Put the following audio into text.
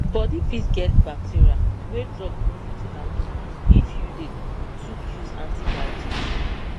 bodi fit get bacteria wey drug no fit handle if you dey too use antibiotics